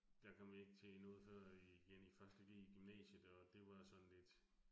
Der kom jeg ikke til i noget før igen første G i gymnasiet, og det var sådan lidt